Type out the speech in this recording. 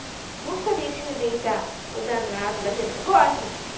Não sabia que tinha que deitar para o danado daquele negócio.